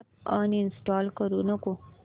app uninstall करू नको